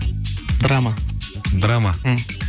драма драма мхм